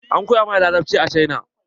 An koya mana larabci a cina.